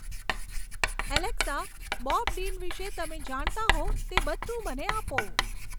Alexa Bob Dean વિષે તમે જાણતા હો તે બધું મને આપો